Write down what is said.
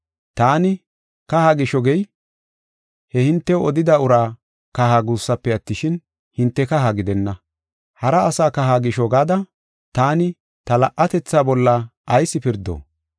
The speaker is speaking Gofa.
Taani, kaha gisho gey, he hintew odida ura kaha guussufe attishin, hinte kaha gidenna. Hara asa kaha gisho gada taani ta la77atetha bolla ayis pirdo?